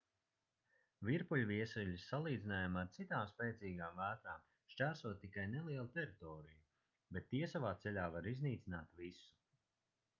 virpuļviesuļi salīdzinājumā ar citām spēcīgām vētrām šķērso tikai nelielu teritoriju bet tie savā ceļā var iznīcināt visu